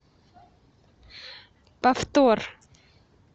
повтор